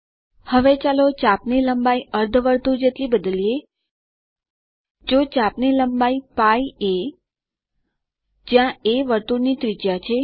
હવે ચાલો ચાપની લંબાઈ અર્ધ વર્તુળ જેટલી બદલીએ તો ચાપની લંબાઈ છે π a જ્યાં એ વર્તુળની ત્રિજયા છે